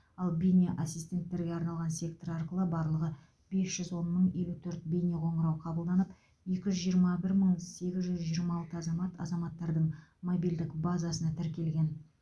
ал бейне ассистенттерге арналған сектор арқылы барлығы бес жүз он мың елу төрт бейнеқоңырау қабылданып екі жүз жиырма бір мың сегіз жүз жиырма алты азамат азаматтардың мобильдік базасына тіркелген